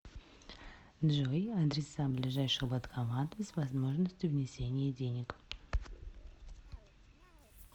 джой адреса ближайших банкоматов с возможностью внесения денег